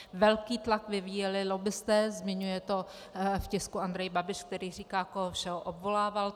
Velký tlak vyvíjeli lobbisté, zmiňuje to v tisku Andrej Babiš, který říká, koho všeho obvolával.